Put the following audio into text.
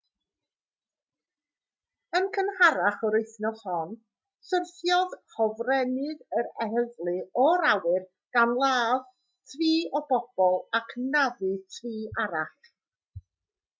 yn gynharach yr wythnos hon syrthiodd hofrennydd yr heddlu o'r awyr gan ladd tri o bobl ac anafu tri arall